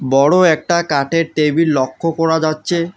বড় একটা কাঠের টেবিল লক্ষ করা যাচ্ছে।